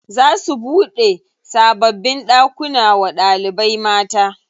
Za su buɗe sababbin ɗakuna wa ɗalibai mata.